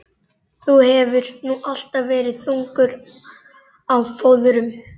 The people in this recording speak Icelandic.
Þú hefur nú alltaf verið þungur á fóðrum.